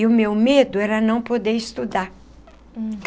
E o meu medo era não poder estudar.